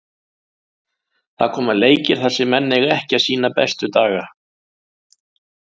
Það koma leikir þar sem menn eiga ekki sýna bestu daga.